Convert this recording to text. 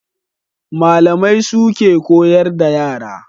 Malamai suke koyar da yara